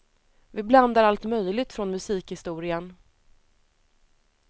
Vi blandar allt möjligt från musikhistorien.